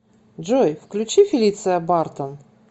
джой включи фелиция бартон